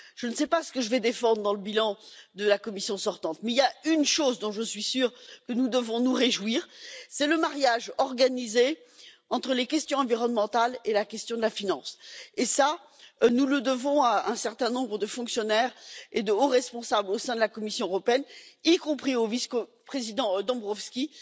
Je ne sais pas ce que je vais défendre dans le bilan de la Commission sortante, mais je suis sûre que nous devons nous réjouir d'une chose le mariage organisé entre les questions environnementales et la question de la finance. Nous le devons à un certain nombre de fonctionnaires et de hauts responsables au sein de la Commission européenne, y compris au vice président Dombrovskis.